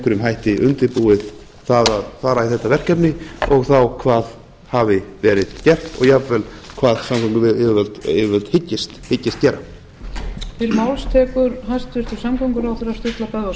einhverjum hætti undirbúið það að fara í þetta verkefni og þá hvað hafi verið gert og jafnvel hvað samgönguyfirvöld hyggist gera